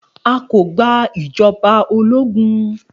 A kò gba ìjọba ológun